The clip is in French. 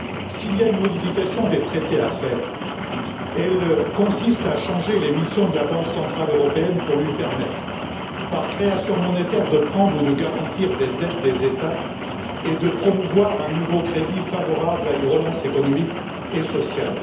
S'il y a une modification des traités à faire, elle consiste à changer les missions de la Banque centrale européenne pour lui permettre, par création monétaire, de prendre ou de garantir les dettes des États et de promouvoir un nouveau crédit favorable à une relance économique et sociale.